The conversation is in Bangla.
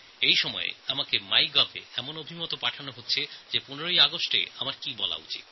১৫ই অগাস্টে আমার কি বলা উচিত তা নিয়েও ইদানিং মাইগভ পোর্টালে নানান পরামর্শ আসছে